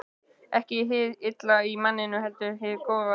Ekki hið illa í manninum, heldur hið góða.